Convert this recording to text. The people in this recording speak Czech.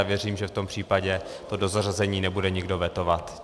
A věřím, že v tom případě to dozařazení nebude nikdo vetovat.